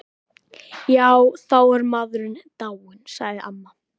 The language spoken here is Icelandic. Já, þá er maður dáinn, sagði amma.